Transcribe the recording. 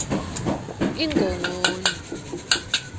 ingongoni